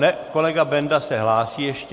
Ne, kolega Benda se hlásí ještě.